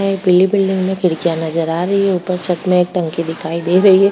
एक पीली बिल्डिंग में खिड़कियाँ नजर आ रही हैं ऊपर छत में एक टंकी दिखाई दे रही है।